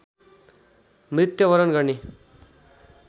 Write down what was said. मृत्यवरण गर्ने